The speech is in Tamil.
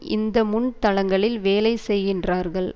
இந்த முன்தளங்களில் வேலைசெய்கின்றார்கள்